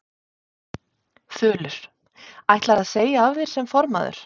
Þulur: Ætlarðu að segja af þér sem formaður?